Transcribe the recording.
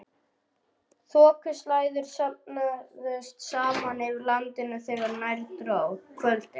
Þokuslæður söfnuðust saman yfir landinu þegar nær dró kvöldi.